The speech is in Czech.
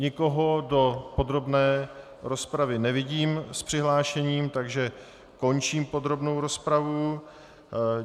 Nikoho do podrobné rozpravy nevidím s přihlášením, takže končím podrobnou rozpravu.